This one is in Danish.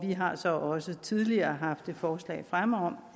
vi har så også tidligere haft et forslag fremme om